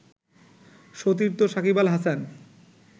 সতীর্থ সাকিব আল হাসান